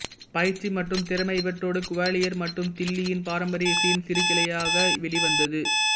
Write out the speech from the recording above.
பயிற்சி மற்றும் திறமை இவற்றோடு குவாலியர் மற்றும் தில்லியின் பாரம்பரிய இசையின் சிறுகிளையாக வெளிவந்தது